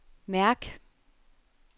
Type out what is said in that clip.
mærk